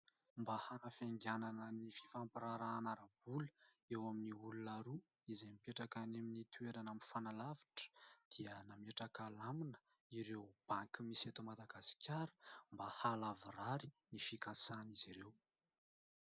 Mba hanafainganana ny fifampirarahana ara-bola eo amin'ny olona roa izay mipetraka any amin'ny toerana mifanalavitra dia nametraka lamina ireo banky misy eto madagasikara mba halavorary ny fikasana izy ireo.